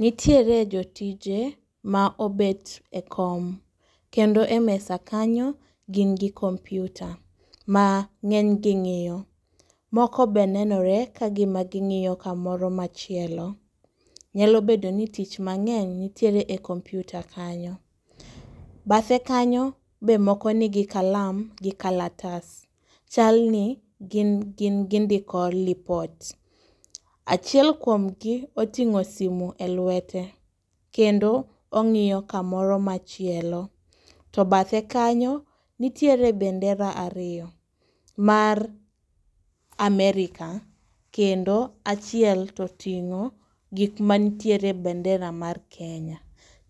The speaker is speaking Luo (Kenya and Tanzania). Nitiere jotije ma obet e kom, kendo e mesa kanyo gin gi kompyuta ma ng'eny gi ng'iyo. Moko be nenore ka gima ging'iyo kamoro machielo, nyalo bedo ni tich mang'eny nitiere e kompyuta kanyo. Bathe kanyo be moko nigi kalam gi kalatas, chal ni gin gin gindiko lipot. Achiel kuom gi oting'o simu e lwete, kendo ong'iyo kamoro machielo. To bathe kanyo, nitiere bendera ariyo mar Amerika, kendo achiel to ting'o gik ma ntiere e bendera mar Kenya.